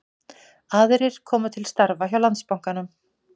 Aðrir koma til starfa hjá Landsbankanum